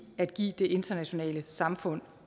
at give det internationale samfund